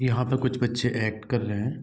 यहाँ पे कुछ बच्चे एक्ट कर रहे है।